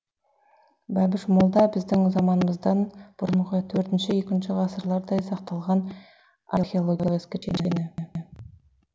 бәбіш молда біздің заманымыздан бұрынғы төртінші екінші ғасырдардай сақталған археологиялық ескерткіштер кешені